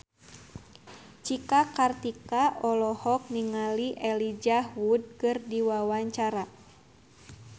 Cika Kartika olohok ningali Elijah Wood keur diwawancara